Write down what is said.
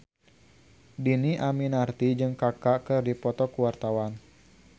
Dhini Aminarti jeung Kaka keur dipoto ku wartawan